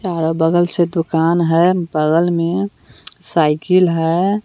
तारा बगल से दुकान है बगल में साइकिल है।